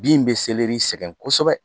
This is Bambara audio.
Bin bɛ sɛgɛn kosɛbɛ.